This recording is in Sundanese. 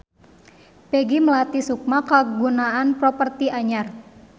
Peggy Melati Sukma kagungan properti anyar